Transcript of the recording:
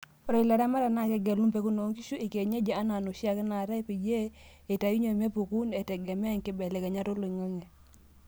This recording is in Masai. Ore ilaramatak naa kegelu mpekun oonkishu ekienyeji enaa noshiake naatae, peyie eitayunyie mepuku etegemea nkibelekenyat oloing'ang'e.